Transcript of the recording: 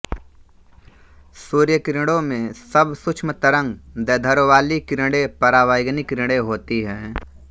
सूर्यकिरणों में सब सूक्ष्म तरंग दैर्ध्यवाली किरणें परावैगनी किरणें होती है